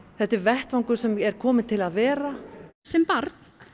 þetta er vettvangur sem er kominn til að vera sem barn